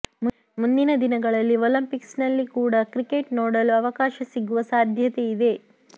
ಮುಂದಿನ ದಿನಗಳಲ್ಲಿ ಒಲಂಪಿಕ್ಸ್ ನಲ್ಲಿ ಕೂಡ ಕ್ರಿಕೆಟ್ ನೋಡಲು ಅವಕಾಶ ಸಿಗುವ ಸಾಧ್ಯತೆ ಇದೆ